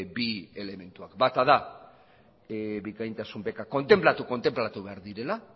bi elementuak bata da bikaintasun bekak kontenplatu behar direla